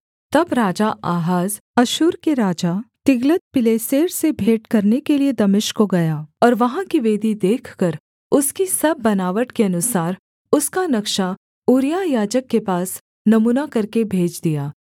तब राजा आहाज अश्शूर के राजा तिग्लत्पिलेसेर से भेंट करने के लिये दमिश्क को गया और वहाँ की वेदी देखकर उसकी सब बनावट के अनुसार उसका नक्शा ऊरिय्याह याजक के पास नमूना करके भेज दिया